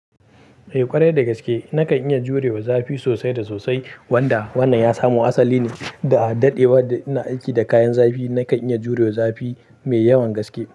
Eh ƙwarai da gaske na kan iya jurewa zafi sosai da sosai wanda wannan ya samu asali ne da daɗewa da ina aiki da kayan zafi. Na kan iya jurewa zafi mai yawan gaske.